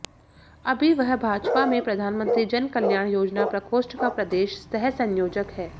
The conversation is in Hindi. अभी वह भाजपा में प्रधानमंत्री जनकल्याण योजना प्रकोष्ठ का प्रदेश सह संयोजक है